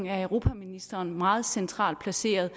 at europaministeren er meget centralt placeret